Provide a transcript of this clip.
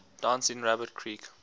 dancing rabbit creek